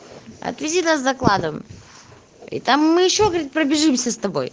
отвези нас докладом и там мы ещё говорит пробежимся с тобой